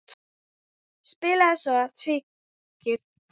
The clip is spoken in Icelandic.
Spilaði svo tígli.